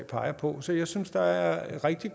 peger på så jeg synes at der er rigtig